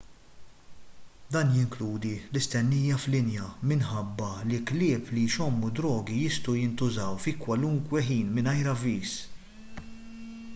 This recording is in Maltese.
dan jinkludi l-istennija f'linja minħabba li klieb li jxommu d-drogi jistgħu jintużaw fi kwalunkwe ħin mingħajr avviż